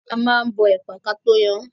A máa ń bọ ẹ̀pà kató yan án.